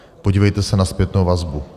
Podívejte se na zpětnou vazbu.